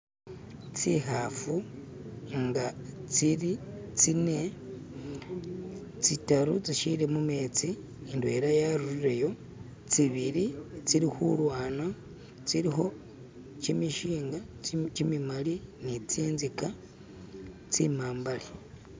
tsihafu nga tsili tsine tsitaru tsishili mumetsi ndwela yarurire yo tsibili tsili hulwana tsiliho kyimishinga kyimimali nitsintzika tsimambale